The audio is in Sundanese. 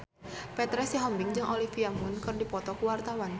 Petra Sihombing jeung Olivia Munn keur dipoto ku wartawan